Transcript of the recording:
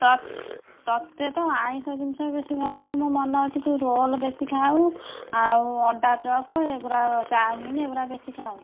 ତତ ତତେ ତ ଆଇଂଷ ଜିନିଷ ବେଶୀ ଭଲ ଲାଗେ ମୋର ମନେ ଅଛି ତୁ ରୋଲ ବେଶୀ ଖାଉ ଆଉ ଅଣ୍ଡା ଚୋପ ଆଉ ଚଉମିନ ଏଗୁଡା ବେଶୀ ଖାଉ।